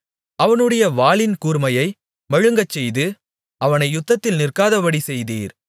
அவனுடைய வாளின் கூர்மையை மழுங்கச்செய்து அவனை யுத்தத்தில் நிற்காதபடி செய்தீர்